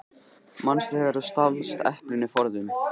Manstu þegar þú stalst eplinu forðum?